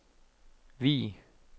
Vig